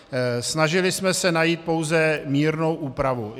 Snažili jsme se jít pouze mírnou úpravou.